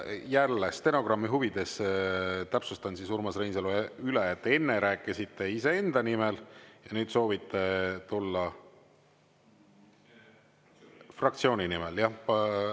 Jälle stenogrammi huvides täpsustan siis, Urmas Reinsalu, üle, et enne rääkisite iseenda nimel ja nüüd soovite tulla fraktsiooni nimel, jah?